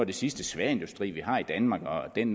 det sidste sværindustri vi har i danmark og den